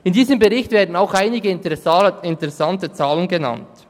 In diesem Bericht werden auch einige interessante Zahlen genannt.